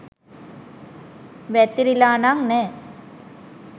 වැතිරිලා නං නෑ